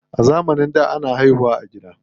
A zamanin da, ana haihu wa a gida.